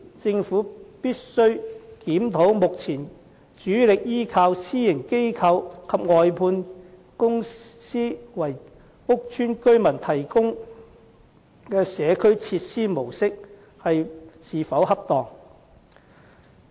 政府必須檢討目前主力依靠私營機構及外判管理公司為屋邨居民提供社區設施的模式是否恰當。